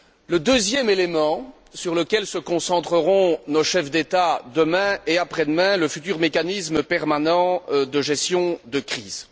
Le deuxième élément sur lequel se concentreront nos chefs d'État demain et après demain, est le futur mécanisme permanent de gestion de crise.